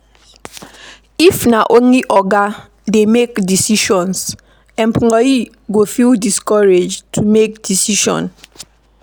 If na only oga dey make decisions, employee go feel discouraged to make decision